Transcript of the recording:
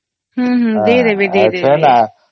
ହମ୍ମ ହମ୍ମ ଦେଇ ଦେବେ ଦେଇ ଦେବେ